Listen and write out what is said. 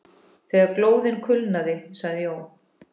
Þegar glóðin kulnaði sagði Jón